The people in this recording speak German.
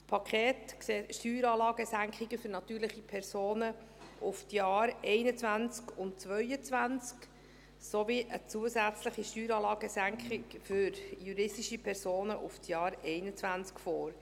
Das Paket sieht Steueranlagensenkungen für natürliche Personen auf die Jahre 2021 und 2022 sowie eine zusätzliche Steueranlagensenkung für juristische Personen für das Jahr 2021 vor.